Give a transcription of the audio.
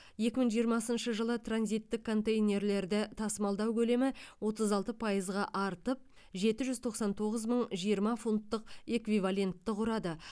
екі мың жиырмасыншы жылы транзиттік контейнерлерді тасымалдау көлемі отыз алты пайызға артып жеті жүз тоқсан тоғыз мың жиырма фунттық эквивалентті құрады